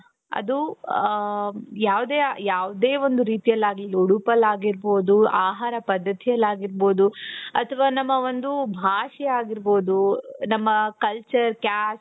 ಅದು ಅ ಯಾವುದೇ ಯಾವುದೇ ಒಂದು ರೀತಿಯಲ್ಲಾಗಲಿ ಉಡುಪಲ್ಲಾಗಿರಬಹುದು ಆಹಾರ ಪದ್ಧತಿಯಲ್ಲಾಗಿರಬಹುದು ಅಥವಾ ನಮ್ಮ ಒಂದು ಭಾಷೆ ಆಗಿರಬಹುದು ನಮ್ಮ culture caste.